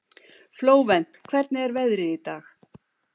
Flóvent, hvernig er veðrið í dag?